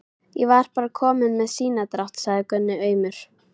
Ég var bara kominn með sinadrátt, sagði Gunni aumur.